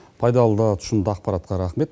пайдалы да тұшымды ақпаратқа рахмет